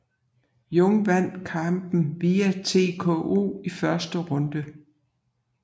Jung vandt kampen via TKO i første runde